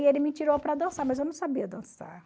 E ele me tirou para dançar, mas eu não sabia dançar.